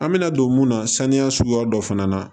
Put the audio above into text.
An bɛna don mun na saniya suguya dɔ fana na